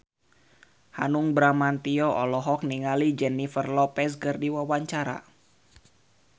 Hanung Bramantyo olohok ningali Jennifer Lopez keur diwawancara